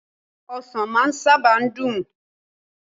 osan maa saba n dun